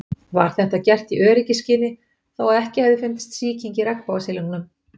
Var þetta gert í öryggisskyni þó að ekki hefði fundist sýking í regnbogasilungnum.